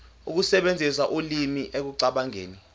ukusebenzisa ulimi ekucabangeni